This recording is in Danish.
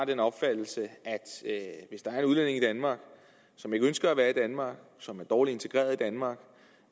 den opfattelse at hvis der er udlændinge i danmark som ikke ønsker at være i danmark og som er dårligt integreret i danmark